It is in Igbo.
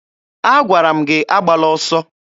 Agwara m gị agbala ọsọ!